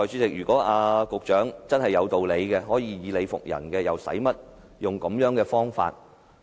如果局長真的有道理，可以理服人，又何需使用這種方法？